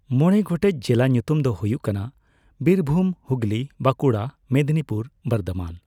ᱢᱚᱸᱲᱮ ᱜᱚᱴᱮᱡ ᱡᱮᱞᱟ ᱧᱩᱛᱩᱢ ᱫᱚ ᱦᱩᱭᱩᱜ ᱠᱟᱱᱟ ᱵᱤᱨᱵᱷᱩᱢ ᱦᱩᱜᱞᱤ ᱵᱟᱠᱩᱲᱟ ᱢᱮᱫᱽᱱᱤᱯᱩᱨ ᱵᱚᱨᱫᱷᱚᱢᱟᱱ ᱾